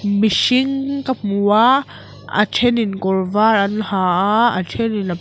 mihring ka hmu a a thenin kawr var an ha a a then in a pawl--